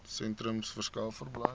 sentrums verskaf verblyf